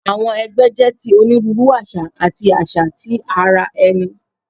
Awọn ẹgbẹ jẹ ti oniruuru aṣa ati aṣa ti ara ẹni